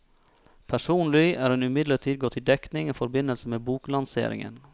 Personlig er hun imidlertid gått i dekning i forbindelse med boklanseringen.